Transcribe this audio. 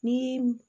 Ni